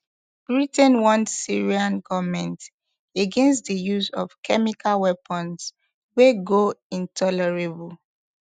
britain warn syrian goment against di use of chemical weapons wey go intolerable